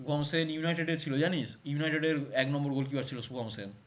Shubham Sen united এর ছিল জানিস? united এর এক number gol keeper ছিল শুভম সেন